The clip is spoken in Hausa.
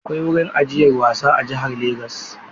Akwai wurin ajiyar wasa a jihar Legas.